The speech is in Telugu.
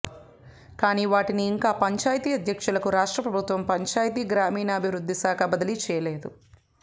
కాని వాటిని ఇంకా పంచాయితీ అధ్యక్షులకు రాష్ట్రప్రభుత్వం పంచాయితీ గ్రామీణాభివృద్ధిశాఖ బదిలీ చేయలేదు